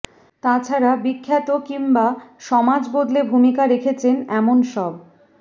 তা ছাড়া বিখ্যাত কিংবা সমাজ বদলে ভূমিকা রেখেছেন এমন সব